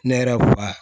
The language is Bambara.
Ne yɛrɛ wan